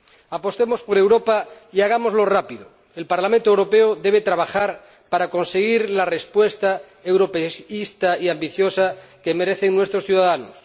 Apostemos por Europa y hagámoslo rápidamente. El Parlamento Europeo debe trabajar para conseguir la respuesta europeísta y ambiciosa que merecen nuestros ciudadanos.